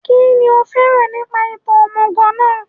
Kínní o fẹ́ràn nípa ìtàn òmùgọ̀ náà